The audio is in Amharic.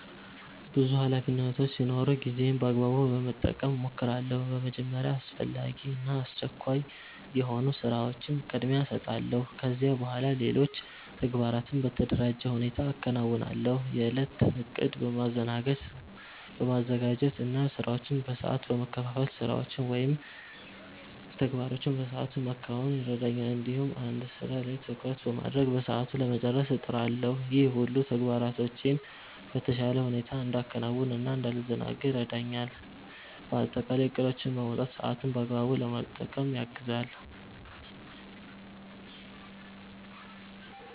ብዙ ኃላፊነቶች ሲኖሩኝ ጊዜዬን በአግባቡ ለመጠቀም እሞክራለሁ። በመጀመሪያ አስፈላጊ እና አስቸኳይ የሆኑ ስራዎችን ቅድሚያ እሰጣለሁ። ከዚያ በኋላ ሌሎች ተግባራትን በተደራጀ ሁኔታ አከናውናለሁ። የእለት እቅድ በማዘጋጀት እና ስራዎችን በሰዓት በመከፋፈል ስራዎችን ወይም ተግባሮችን በሰአቱ ለማከናወን ይረዳኛል። እንዲሁም አንድ ስራ ላይ ትኩረት በማድረግ በሰዓቱ ለመጨረስ እጥራለሁ። ይህ ሁሉ ተግባራቶቼን በተሻለ ሁኔታ እንዳከናውን እና እንዳልዘናጋ ይረዳኛል። በአጠቃላይ እቅዶችን ማውጣት ሰአትን በአግባቡ ለመጠቀም ያግዛል።